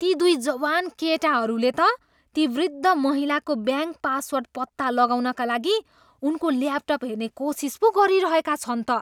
ती दुई जवान केटाहरूले त त्यस वृद्ध महिलाको ब्याङ्क पासवर्ड पत्ता लगाउनका लागि उनको ल्यापटप हेर्ने कोसिस पो गरिरहेका छन् त।